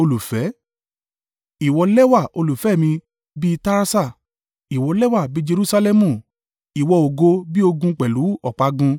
Ìwọ lẹ́wà olùfẹ́ mi, bí i Tirsa, ìwọ lẹ́wà bí i Jerusalẹmu, ìwọ ògo bí ogun pẹ̀lú ọ̀págun.